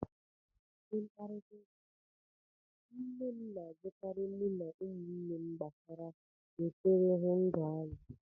N' ụdị mkparịtaụka, nne m na-ajụkarị mụ na ụmụnne m gbasara nsirihụndụ anyị